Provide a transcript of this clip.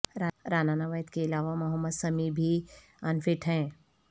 رانا نوید کے علاوہ محمد سمیع بھی ان فٹ ہیں